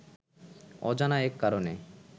অজানা এক কারণে